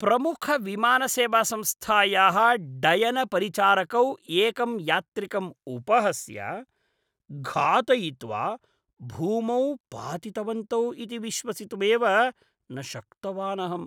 प्रमुखविमानसेवासंस्थायाः डयनपरिचारकौ एकम् यात्रिकम् उपहस्य, घातयित्वा, भूमौ पातितवन्तौ इति विश्वसितुमेव न शक्तवानहम्।